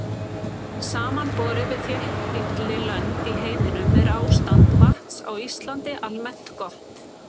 Samanborið við þéttbýlli lönd í heiminum er ástand vatns á Íslandi almennt gott.